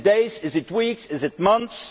Is it days, is it weeks, is it months?